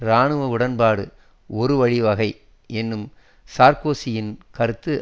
இராணுவ உடன்பாடு ஒரு வழிவகை என்னும் சார்க்கோசியின் கருத்து